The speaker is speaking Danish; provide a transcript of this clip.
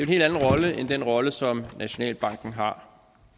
helt anden rolle end den rolle som nationalbanken har